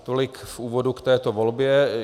Tolik v úvodu k této volbě.